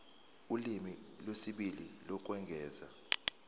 ulimi lwesibili lokwengeza